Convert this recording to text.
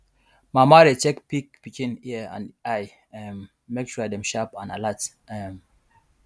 mama dey check pig pikin ear and eye um make sure dem sharp and alert um